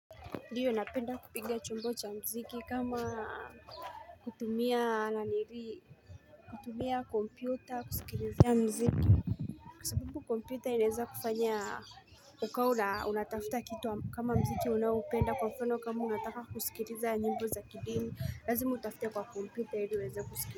Ndiyo napenda kupiga chumbo cha mziki kama kutumia laniri kutumia kompyuta kusikilizia mziki Kwa sababu kompyutq inaweza kufanya ukawa unatafta kitu kama mziki unaopenda kwa mfano kama unataka kusikilizia nyimbo za kidini lazimu utafute kwa kompyuta ili uweze kusikilizia.